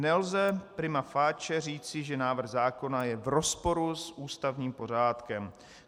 Nelze prima facie říci, že návrh zákona je v rozporu s ústavním pořádkem.